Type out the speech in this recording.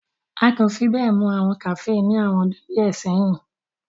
A ko fi be mọ awọn kafee ni awọn ọdun diẹ sẹyin.